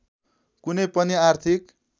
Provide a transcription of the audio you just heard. कुनै पनि आर्थिक